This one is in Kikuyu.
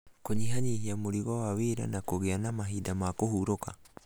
Kũnyihanyihia mũrigo wa wĩra na kũgĩa na mahinda ma kũhurũka